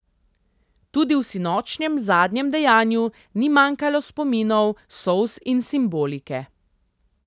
Tudi v sinočnjem zadnjem dejanju ni manjkalo spominov, solz in simbolike.